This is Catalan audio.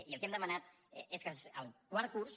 i el que hem demanat és que el quart curs